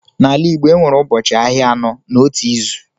N’ala Igbo, e nwere ụbọchị ahịa anọ n’otu izu.